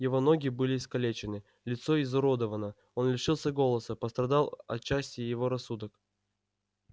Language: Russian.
его ноги были искалечены лицо изуродовано он лишился голоса пострадал отчасти и его рассудок